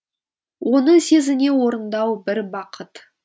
оны сезіне орындау бір бақыт